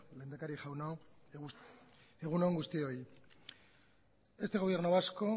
lehendakari jauna egun on guztioi este gobierno vasco